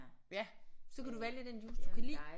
Ja så kan du vælge den juice du kan lide